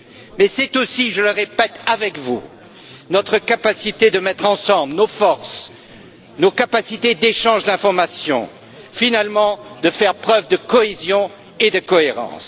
Mais c'est aussi, je le répète, avec vous, notre capacité de mettre ensemble nos forces, nos capacités d'échange d'informations, et finalement, de faire preuve de cohésion et de cohérence.